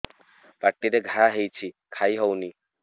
ପାଟିରେ ଘା ହେଇଛି ଖାଇ ହଉନି